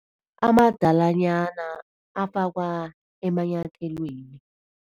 Amadalanyana afakwa emanyathelweni.